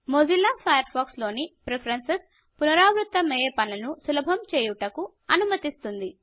Mozilla Firefox లోని preferences పునరావృత్తమైయే పనులను సులభం చేయుటకు అనుమతిస్తుంది